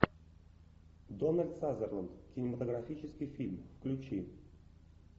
дональд сазерленд кинематографический фильм включи